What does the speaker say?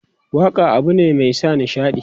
waƙa abune Mai sa nishaɗi.